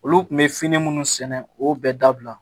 Olu kun bɛ fini minnu sɛnɛ o bɛ dabila